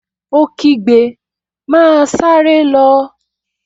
Ó kígbe, 'Máa sáré lọ!